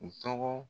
U tɔgɔ